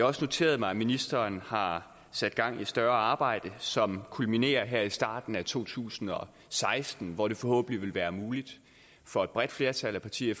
også noteret mig at ministeren har sat gang i et større arbejde som kulminerer her i starten af to tusind og seksten hvor det forhåbentlig vil være muligt for et bredt flertal af partier i